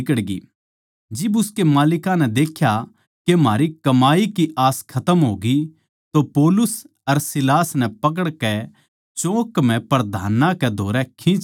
जिब उसके मालिकां नै देख्या के म्हारी कमाई की आस खतम होग्यी तो पौलुस अर सीलास नै पकड़कै चौक म्ह प्रधानां कै धोरै खींच ल्याए